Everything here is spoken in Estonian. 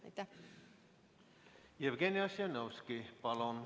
Jevgeni Ossinovski, palun!